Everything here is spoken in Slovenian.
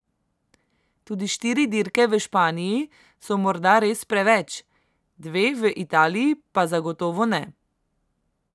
Tudi štiri dirke v Španiji so morda res preveč, dve v Italiji pa zagotovo ne.